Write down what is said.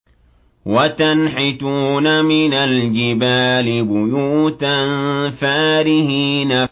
وَتَنْحِتُونَ مِنَ الْجِبَالِ بُيُوتًا فَارِهِينَ